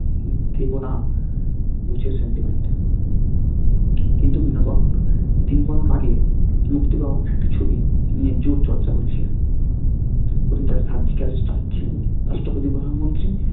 দেবো না বোসের sentiment কিন্তু বিনোদন আগে মুক্তি পাওয়ার একটা ছবি net জুড়ে চর্চা করছে রাষ্ট্রপতি-প্রধানমন্ত্রী